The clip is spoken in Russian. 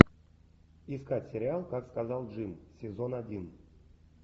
искать сериал как сказал джим сезон один